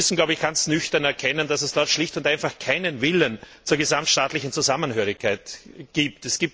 Wir müssen, glaube ich, ganz nüchtern erkennen, dass es dort schlicht und einfach keinen Willen zur gesamtstaatlichen Zusammengehörigkeit gibt.